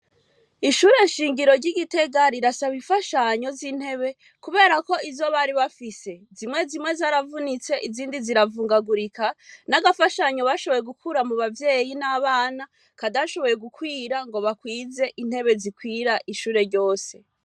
ishure shingiro ryigitega rirasaba imfashanyo z'intebe kuberako izo bari bafise zimwe zimwe zaravunitse Izindi ziravungagurika nagafashanyo bashôboye gukura mubavyeyi n'abana katashoboye gukwira ngo bakwize intebe zikwira ishure ryose .